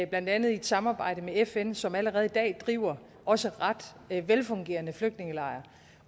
blandt andet i et samarbejde med fn som allerede i dag driver også ret velfungerende flygtningelejre